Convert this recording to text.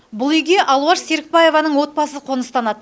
бұл үйге алуаш серікбаеваның отбасы қоныстанады